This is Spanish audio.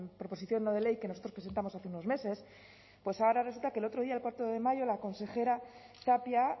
proposición no de ley que nosotros presentamos hace unos meses pues ahora resulta que el otro día el cuatro de mayo la consejera tapia